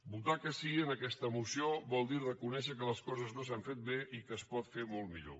votar que sí en aquesta moció vol dir reconèixer que les coses no s’han fet bé i que es pot fer molt millor